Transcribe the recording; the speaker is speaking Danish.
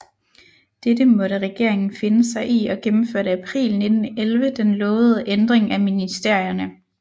Dette måtte regeringen finde sig i og gennemførte april 1911 den lovede Ændring af Ministerierne